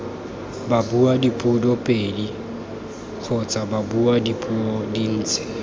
babuadipuo pedi kgotsa babuadipuo dintsi